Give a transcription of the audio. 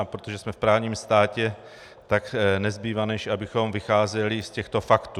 A protože jsme v právním státě, tak nezbývá než abychom vycházeli z těchto faktů.